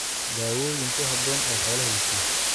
Daawooyin ku haboon oo xoolaha la siiyo.